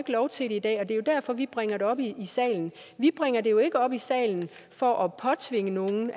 lov til det i dag og det er jo derfor vi bringer det op i salen vi bringer det jo ikke op i salen for at påtvinge nogen